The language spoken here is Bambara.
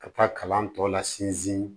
Ka taa kalan tɔ la sinsin